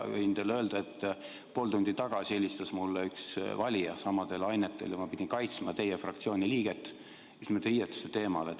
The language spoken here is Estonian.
Võin teile öelda, et pool tundi tagasi helistas mulle üks valija samal teemal ja ma pidin kaitsma teie fraktsiooni liiget just nimelt riietuse pärast.